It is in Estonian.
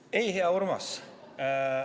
Ei, hea Urmas.